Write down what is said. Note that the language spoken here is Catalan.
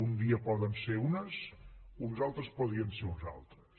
un dia poden ser unes uns altres podrien ser unes altres